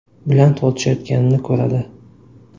bilan tortishayotganini ko‘radi.